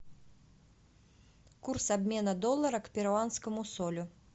курс обмена доллара к перуанскому солю